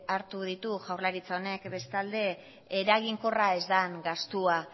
hartu ditu jaurlaritza honek bestalde eraginkorra ez den gastua